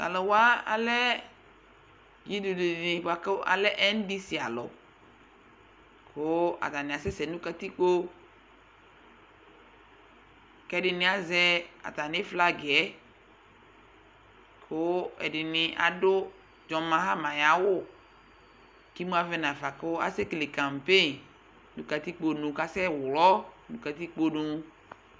Tʋ alʋ wa alɛ ɩdʋdʋ dɩ bʋa kʋ alɛ ɛndisialʋ kʋ atanɩ asɛsɛ nʋ katikpo kʋ ɛdɩnɩ azɛ atamɩ flagɩ yɛ kʋ ɛdɩnɩ adʋ dzɔn maɣama ayʋ awʋ kʋ imu avɛ nafa kʋ asɛkele kampen kʋ katikponu kʋ asɛɣlɔ nʋ katikponu